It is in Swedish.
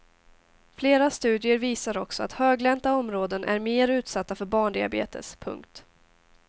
Flera studier visar också att höglänta områden är mer utsatta för barndiabetes. punkt